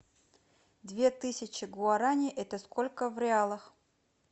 две тысячи гуарани это сколько в реалах